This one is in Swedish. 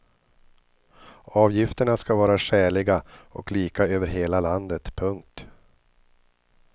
Avgifterna ska vara skäliga och lika över hela landet. punkt